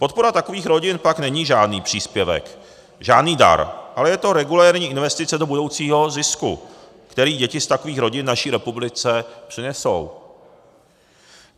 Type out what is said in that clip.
Podpora takových rodin pak není žádný příspěvek, žádný dar, ale je to regulérní investice do budoucího zisku, který děti z takových rodin naší republice přinesou.